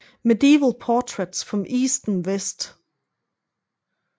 Medieval Portraits from East and West